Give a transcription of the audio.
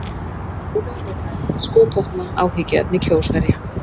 Ólögleg meðferð skotvopna áhyggjuefni Kjósverja